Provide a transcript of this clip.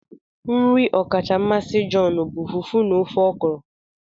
Nri ọkacha mmasị John bụ Fufu na ofe Okro